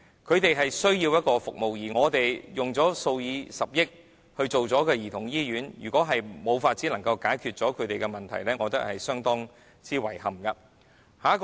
他們需要這些服務，而我們花了數以十億元興建兒童醫院，如果仍然無法解決他們的問題，我認為這是相當遺憾的。